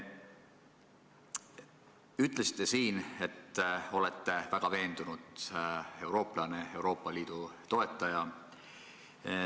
Ütlesite enne, et olete väga veendunud eurooplane, Euroopa Liidu toetaja.